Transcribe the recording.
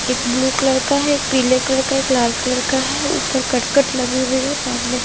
एक blue colour का है एक पीले कलर का है एक लाल कलर का है उपर कट कट लगे हुए है सामने --